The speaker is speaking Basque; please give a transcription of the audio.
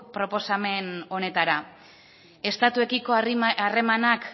proposamen honetara estatuekiko harremanak